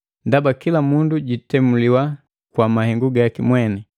Ndaba kila mundu jitemuliwa kwa mahengu gaki mweni.